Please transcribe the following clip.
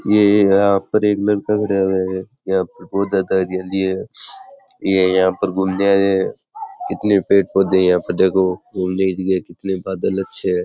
ये यहां पर एक लड़का खड़ा हुआ है यहां पर बहुत हरियाली है ये यहां पर घूमने आया है कितने पेड़ पौधे है यहां पर देखो घूमने की जिगा कितने बादल अच्छे हैं।